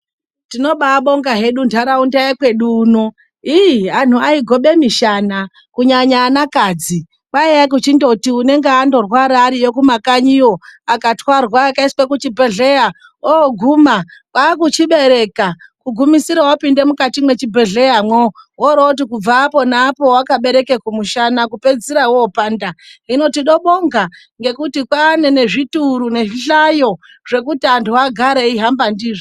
Tinobabonga hedu ntaraunda yokwedu uno. Iii antu aigobe mishana kunyanya anakadzi. Kwaiye kuti unenge ukarwara uri kumakanyiwo, akatarwa akaiswa kuchibhedhlera oguma wochibereka, kugumisira wapinda mukati mechibhedhleyamo. Woroti kubva arona apo wakabereka kumushana kupedzisira wopanda. Hino tnobonga ngekuti kwaane nezvituru nezvihlayo zvekuti antu agare wechihamba ndizvo.